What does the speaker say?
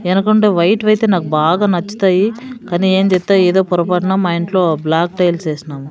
ఎనకుంటే white వైతే నాకు బాగా నచ్చుతాయి కని ఏంచేతావ్ ఎదో పొరపాటున మా ఇంట్లో బ్లాక్ టైల్స్ ఏసినాము.